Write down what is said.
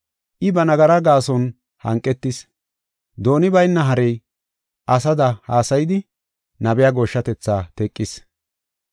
I ba nagara gaason hanqetis; dooni bayna harey asada haasayidi nabiya gooshshatethaa teqis.